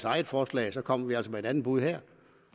eget forslag kommer vi altså med et andet bud her